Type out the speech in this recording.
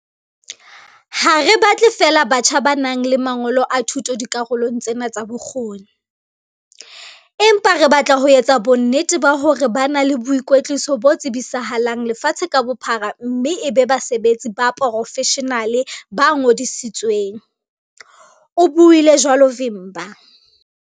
"Ha re batle feela batjha ba nang le mangolo a thuto dikarolong tsena tsa bokgoni, empa re batla ho etsa bonnete ba hore ba na le boikwetliso bo tsebisahalang lefatshe ka bophara mme e be basebetsi ba poro-feshenale ba ngodisitsweng," o buile jwalo Vimba.